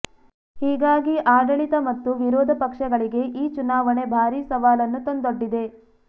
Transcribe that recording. ಹೀಗಾಗಿ ಆಡಳಿತ ಮತ್ತು ವಿರೋಧ ಪಕ್ಷಗಳಿಗೆ ಈ ಚುನಾವಣೆ ಭಾರೀ ಸವಾಲನ್ನು ತಂದೊಡ್ಡಿದೆ